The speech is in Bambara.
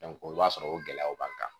i b'a sɔrɔ o gɛlɛyaw b'an kan